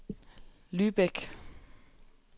Lübeck